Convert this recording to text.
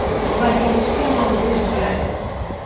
Bajarishga majbur bo‘ladi.